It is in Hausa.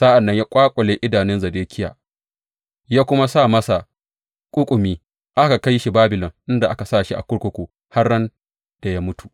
Sa’an nan ya ƙwaƙule idanun Zedekiya, ya kuma sa masa ƙuƙumi, aka kai shi Babilon inda aka sa shi a kurkuku har ran da ya mutu.